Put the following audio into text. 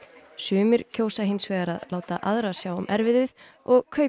sumir kjósa hins vegar að láta aðra sjá um erfiðið og kaupa